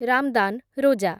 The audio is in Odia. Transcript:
ରାମ୍‌ଦାନ୍, ରୋଜା